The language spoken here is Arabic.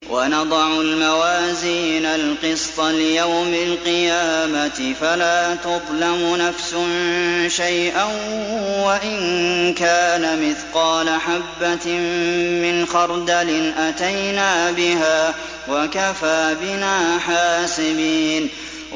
وَنَضَعُ الْمَوَازِينَ الْقِسْطَ لِيَوْمِ الْقِيَامَةِ فَلَا تُظْلَمُ نَفْسٌ شَيْئًا ۖ وَإِن كَانَ مِثْقَالَ حَبَّةٍ مِّنْ خَرْدَلٍ أَتَيْنَا بِهَا ۗ وَكَفَىٰ بِنَا حَاسِبِينَ